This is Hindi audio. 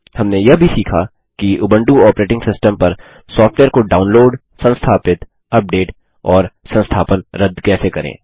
हमने यह भी सीखा कि उबंटू ऑपरेटिंग सिस्टम पर सॉफ्टवेयर को डाउनलोड संस्थापित अपडेट और संस्थापन रद्द कैसे करें